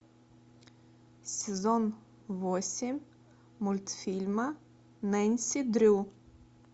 сезон восемь мультфильма нэнси дрю